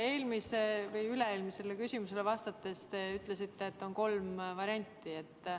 Eelmisele või üle-eelmisele küsimusele vastates te ütlesite, et on kolm varianti.